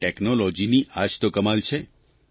અને ટેકનોલોજીની આ જ તો કમાલ છે